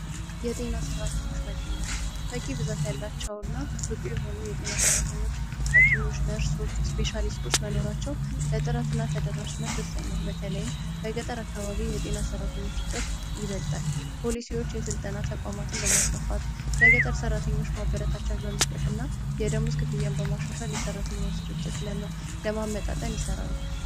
የጤና ሠራተኞች መገኘት በቂ ብዛት ያላቸው እና ብቁ የሆኑ የጤና ሠራተኞች ሀኪሞች እና ነርሶች መኖራቸው ለጥራትና ተደራሽነት ወሳኝ ነው። በተለይም በገጠር አካባቢ የጤና ሰራተኞች እጥረት ይበዛል ፖሊሲዎች የስልጠና ተቋማትን በማስፋፋት ለገጠሩ ሰራተኞች ማበረታቻ በመስጠትና የደመወዝ ክፍያ በማሻሻል የሰራተኛን ስርጭት ለማሻሻል ይሰራል።